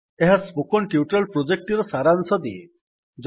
ଏହା spoken tutorial ପ୍ରୋଜେକ୍ଟଟିର ସାରାଂଶ ଦିଏ